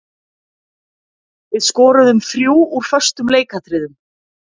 Við skoruðum þrjú úr föstum leikatriðum.